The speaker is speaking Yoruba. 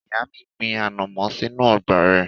Ìyá mi gbin ànàmọ́ sínú ọgbà rẹ̀.